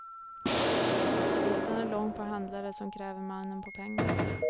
Listan är lång på handlare som kräver mannen på pengar.